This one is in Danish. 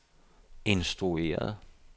instrueret